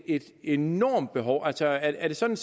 et enormt behov altså er det sådan